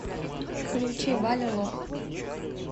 включи валя лох